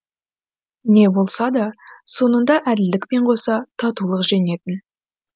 не болса да соңында әділдікпен қоса татулық жеңетін